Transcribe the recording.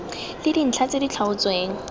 le dintlha tse di tlhaotsweng